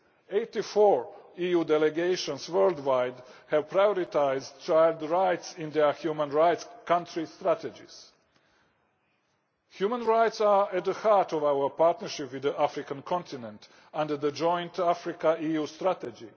Eighty four EU delegations worldwide have prioritised children's rights in their human rights country strategies. Human Rights are at the heart of our partnership with the African continent under the Joint Africa EU Strategy.